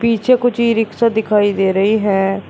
पीछे कुछ ई रिक्शा दिखाई दे रही है।